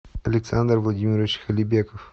александр владимирович халибеков